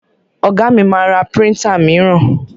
Ọ̀gá mi ma ra príntà míràn.